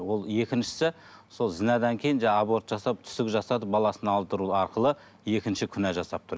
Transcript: ол екіншісі сол зінәдан кейін жаңағы аборт жасап түсік жасатып баласын алдыру арқылы екінші күнә жасап тұр